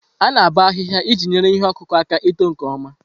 A-na aboo ahiiya iji nyere ihe ọkụkụ aka ito nke ọma.